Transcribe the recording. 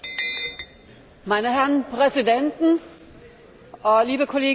Meine Herren Präsidenten, liebe Kolleginnen und Kollegen!